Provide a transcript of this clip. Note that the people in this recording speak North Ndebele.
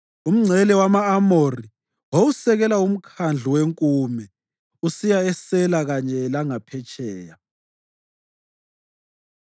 Umngcele wama-Amori wawusekela uMkhandlu weNkume usiya eSela kanye langaphetsheya.